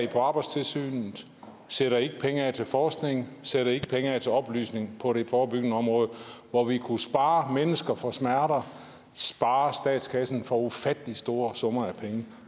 på arbejdstilsynet sætter ikke penge af til forskning sætter ikke penge af til oplysning på det forebyggende område hvor vi kunne spare mennesker for smerter spare statskassen for ufattelig store summer